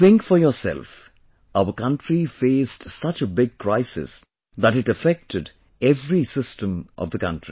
Think for yourself, our country faced such a big crisis that it affected every system of the country